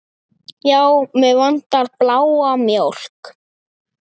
Já, mig vantar bláa mjólk.